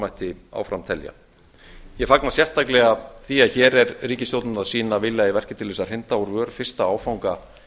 mætti áfram telja ég fagna sérstaklega því að hér er ríkisstjórnin að sýna vilja í verki til að hrinda úr vör fyrsta áfanga